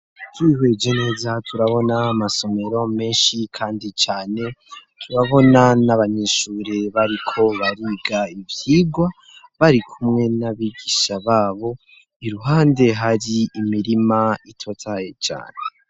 Twihweje neza turabona amasomero menshi kandi cyane turabona n'abanyeshure bariko bariga ibyigwa bari kumwe n'abigisha babo iruhande hari imirima itotahaye cyane.